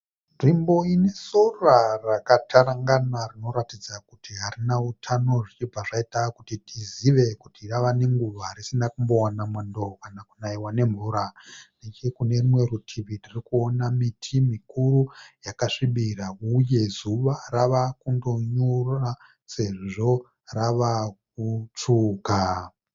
Nzvimbo ine sora rakatarangana rinoratidza kuti harina hutano zvichibva zvaita kuti tizive kuti rava nenguva risina kumbowana mwando kana kunaiwa nemvura. Nechekune rimwe rutivi tiri kuona miti mikuru yakasvibira uye zuva rava kundonyura sezvo rava kutsvuka.